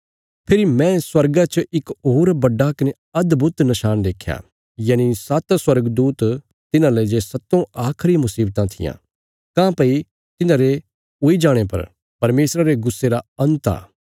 फेरी मैं स्वर्गा च इक होर बड्डा कने अदभुत नशाण देख्या यनि सात्त स्वर्गदूत तिन्हांले जे सत्तों आखरी मुशीवतां थिआं काँह्भई तिन्हांरे हुई जाणे पर परमेशरा रे गुस्से रा अन्त आ